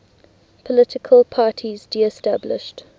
political parties disestablished